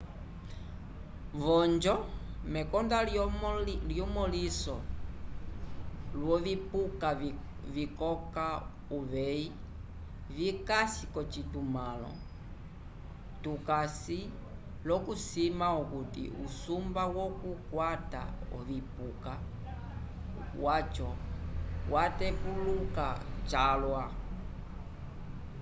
v'onjo mekonda lyemõliso lyovipuka vikoka uveyi vikasi k'ocitumãlo tukasi l'okusima okuti usumba wokukwata ovipuka vyaco vyatepuluka calwa